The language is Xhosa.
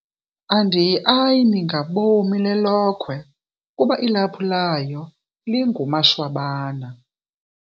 Andiyiayini ngabomi lelokhwe kuba ilaphu layo lingumashwabana.